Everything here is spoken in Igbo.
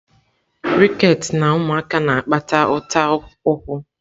Rickets na ụmụaka na-akpata ụta ụkwụ.